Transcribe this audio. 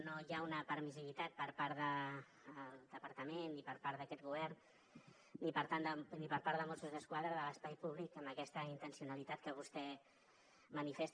no hi ha una permissivitat per part del departament ni per part d’aquest govern ni per part de mossos d’esquadra de l’espai públic amb aquesta intencionalitat que vostè manifesta